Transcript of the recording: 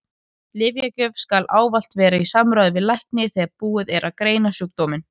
Lyfjagjöf skal ávallt vera í samráði við lækni þegar búið er að greina sjúkdóminn.